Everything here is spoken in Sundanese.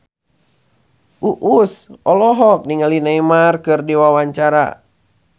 Uus olohok ningali Neymar keur diwawancara